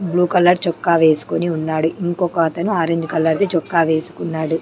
Blue colour చొక్కా వేసుకుని ఉన్నాడు ఇంకొకతను ఆరంజ్ కలర్ ది చొక్కా వేసుకున్నాడు.